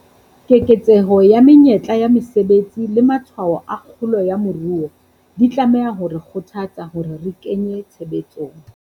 Keketseho ya menyetla ya mesebetsi le matshwao a kgolo ya moruo, di tlameha ho re kgothatsa hore re kenye tshebetsong.